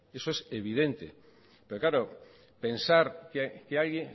eso es evidente pero claro